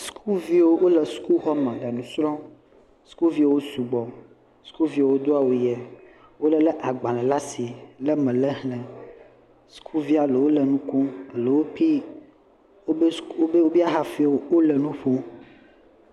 Sukuviwo le sukuxɔme le nu srɔ̃m. Sukuviwo sugbɔ, sukuviwo do awu ʋee. Wolé agbalẽ le asi wɔ be wole exlẽm. Sukuvi aɖewo le nu kom eɖewo .. wole nu kom.